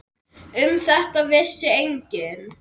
Um þetta vissi enginn.